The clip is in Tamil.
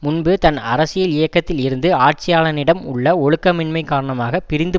முன்பு தன் அரசியல் இயக்கத்தில் இருந்து ஆட்சியாளனிடம் உள்ள ஒழுக்கமின்மை காரணமாக பிரிந்து